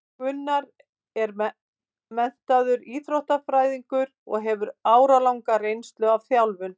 Gunnar er menntaður íþróttafræðingur og hefur áralanga reynslu af þjálfun.